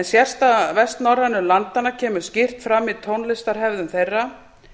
sérstaða vestnorrænu landanna kemur skýrt fram í tónlistarhefðum þeirra